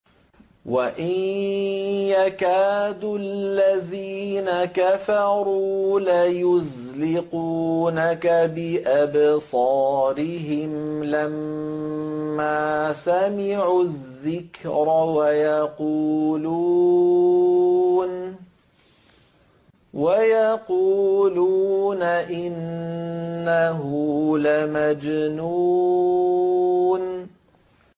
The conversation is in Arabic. وَإِن يَكَادُ الَّذِينَ كَفَرُوا لَيُزْلِقُونَكَ بِأَبْصَارِهِمْ لَمَّا سَمِعُوا الذِّكْرَ وَيَقُولُونَ إِنَّهُ لَمَجْنُونٌ